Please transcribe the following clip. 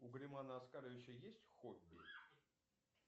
у германа оскаровича есть хобби